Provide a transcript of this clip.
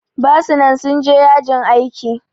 Basu nan sun je yajin aiki